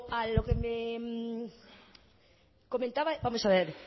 a lo que me comentaba vamos a ver